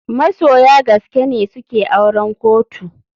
Masoya gaskene suke auren kotu.